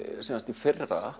í fyrra